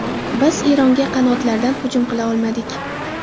Biz Eronga qanotlardan hujum qila olmadik.